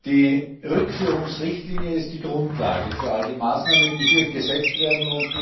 Die Rückführungsrichtlinie ist die Grundlage für all die Maßnahmen, die hier gesetzt werden.